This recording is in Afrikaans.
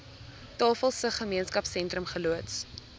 tafelsig gemeenskapsentrum geloods